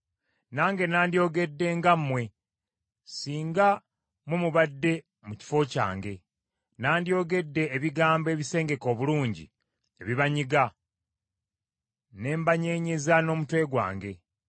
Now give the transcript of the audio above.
Nange nandyogedde nga mmwe, singa mmwe mubadde mu kifo kyange; nandyogedde ebigambo ebisengeke obulungi ebibanyiga, ne mbanyeenyeza n’omutwe gwange.